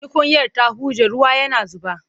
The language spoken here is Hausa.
Tukunyar ta huje ruwa yana zuba.